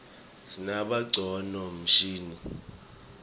sinabonqcondvo mshini